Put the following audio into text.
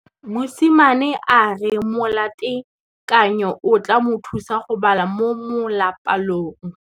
Mosimane a re molatekanyô o tla mo thusa go bala mo molapalong.